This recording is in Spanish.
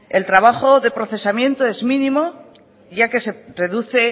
el trabajo de procesamiento es mínimo ya que se reduce